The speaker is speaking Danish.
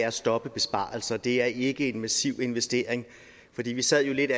at stoppe besparelser det er ikke en massiv investering vi vi sad lidt